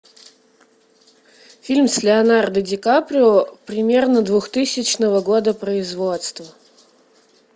фильм с леонардо ди каприо примерно двухтысячного года производства